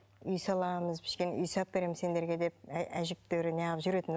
үй саламыз үй салып беремін сендерге деп әжептәуір неғып жүретін